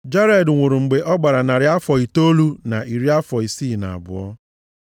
Jared nwụrụ mgbe ọ gbara narị afọ itoolu na iri afọ isii na abụọ.